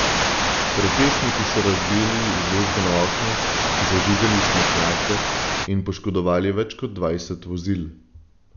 Protestniki so razbijali izložbena okna, zažigali smetnjake in poškodovali več kot dvajset vozil.